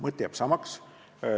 Mõte jääb samaks.